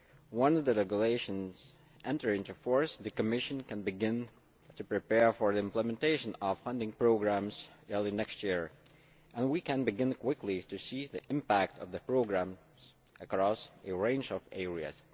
Once the regulations enter into force, the Commission can begin to prepare for the implementation of funding programmes early next year and we can quickly begin to see the impact of the programmes across a range of areas.